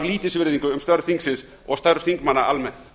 lítilsvirðingu um störf þingsins og störf þingmanna almennt